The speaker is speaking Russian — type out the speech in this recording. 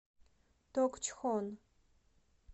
токчхон